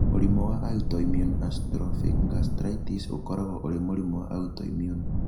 Mũrimũ wa autoimmune atrophic gastritis ũkoragwo ũrĩ mũrimũ wa autoimmune.